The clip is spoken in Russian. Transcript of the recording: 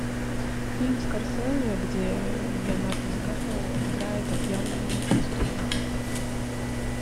фильм скорсезе где леонардо ди каприо играет отъявленного преступника